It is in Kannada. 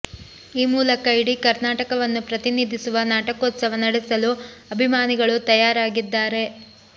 ಈ ಮೂಲಕ ಇಡೀ ಕರ್ನಾಟಕವನ್ನು ಪ್ರತಿನಿಧಿಸುವ ನಾಟಕೋತ್ಸವ ನಡೆಸಲು ಅಭಿಮಾನಿಗಳು ತಯಾರಾಗಿದ್ದಾರೆ